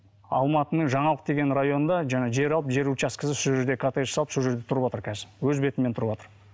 алматының жаңалық деген районында жаңа жер алып жер участкісі сол жерде коттедж салып сол жерде тұрыватыр қазір өз бетімен тұрыватыр